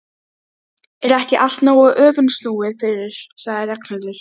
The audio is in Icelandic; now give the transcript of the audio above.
Við bundum spotta í bátana og teymdum þá eftir fjöruborðinu.